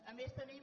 a més tenim